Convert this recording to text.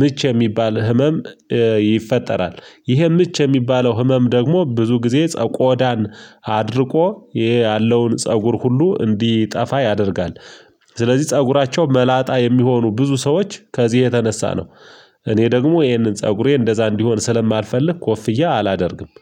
ምች የሚባል ህመም ይፈጠራል። ይሄ ምች የሚባለው ህመም ደግሞ ብዙ ጊዜ ቆዳን አድርቆ ይሄ ያለውን ፀጉር ሁሉ እንዲጠፋ ያደርጋል። ስለዚህ ፀጉራቸው መላጣ የሚሆኑ ብዙ ሰዎች ከዚህ የተነሳ ነው። እኔ ደግሞ ይሄንን ፀጉሬ እንደዛ እንዲሆን ስለማልፈልግ ኮፍያ አላደርግም